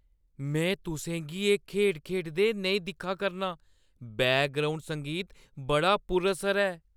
में तुसें गी एह् खेढ खेढदे नेईं दिक्खा करनां । बैकग्राउंड संगीत बड़ा पुरअसर ऐ!